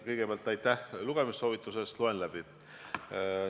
Kõigepealt aitäh lugemissoovituse eest, loen artikli läbi!